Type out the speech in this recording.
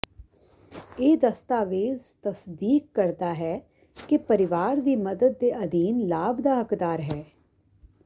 ਇਹ ਦਸਤਾਵੇਜ਼ ਤਸਦੀਕ ਕਰਦਾ ਹੈ ਕਿ ਪਰਿਵਾਰ ਦੀ ਮਦਦ ਦੇ ਅਧੀਨ ਲਾਭ ਦਾ ਹੱਕਦਾਰ ਹੈ